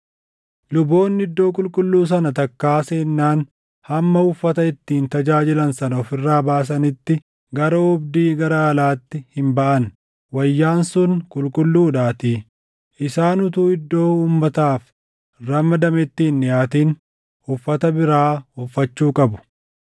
Luboonni iddoo qulqulluu sana takkaa seennaan hamma uffata ittiin tajaajilan sana of irraa baasanitti gara oobdii gara alaatti hin baʼan; wayyaan sun qulqulluudhaatii. Isaan utuu iddoo uummataaf ramadametti hin dhiʼaatin uffata biraa uffachuu qabu.”